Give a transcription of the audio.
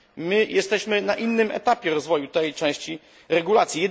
My jesteśmy na innym etapie rozwoju tej części regulacji.